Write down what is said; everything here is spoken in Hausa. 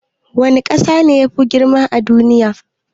Wani kasa ne Mafi girma a duniya?